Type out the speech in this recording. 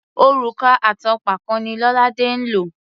Òrùka àtànpàkò ni Lolade ń lò.